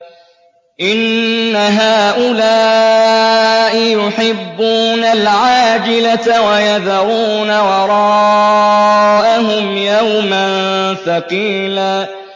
إِنَّ هَٰؤُلَاءِ يُحِبُّونَ الْعَاجِلَةَ وَيَذَرُونَ وَرَاءَهُمْ يَوْمًا ثَقِيلًا